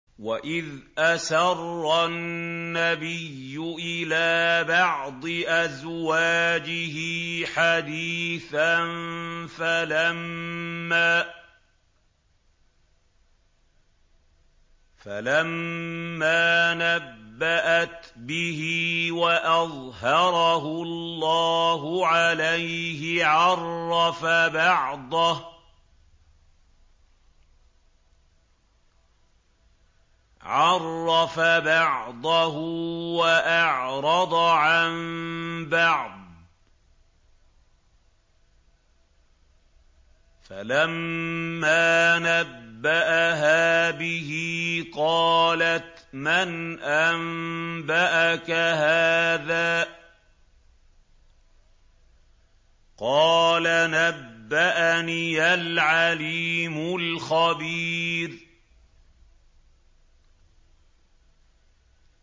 وَإِذْ أَسَرَّ النَّبِيُّ إِلَىٰ بَعْضِ أَزْوَاجِهِ حَدِيثًا فَلَمَّا نَبَّأَتْ بِهِ وَأَظْهَرَهُ اللَّهُ عَلَيْهِ عَرَّفَ بَعْضَهُ وَأَعْرَضَ عَن بَعْضٍ ۖ فَلَمَّا نَبَّأَهَا بِهِ قَالَتْ مَنْ أَنبَأَكَ هَٰذَا ۖ قَالَ نَبَّأَنِيَ الْعَلِيمُ الْخَبِيرُ